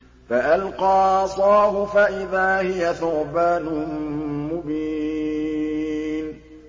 فَأَلْقَىٰ عَصَاهُ فَإِذَا هِيَ ثُعْبَانٌ مُّبِينٌ